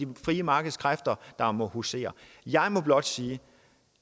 frie markeds kræfter der må husere jeg må blot sige